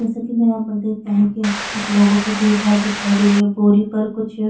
जैसा की मै यहाँ पर देख प् रही की यहाँ पे कुछ लोगो की भीड़-भाड़ दिखाई दे रही है बोरी पर कुछ लोग --